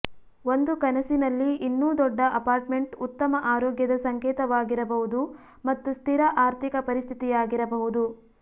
ಒಂದು ಕನಸಿನಲ್ಲಿ ಇನ್ನೂ ದೊಡ್ಡ ಅಪಾರ್ಟ್ಮೆಂಟ್ ಉತ್ತಮ ಆರೋಗ್ಯದ ಸಂಕೇತವಾಗಿರಬಹುದು ಮತ್ತು ಸ್ಥಿರ ಆರ್ಥಿಕ ಪರಿಸ್ಥಿತಿಯಾಗಿರಬಹುದು